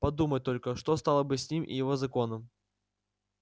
подумать только что стало бы с ним и с его законом